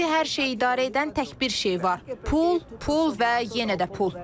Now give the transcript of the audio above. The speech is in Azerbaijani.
İndi hər şeyi idarə edən tək bir şey var: pul, pul və yenə də pul.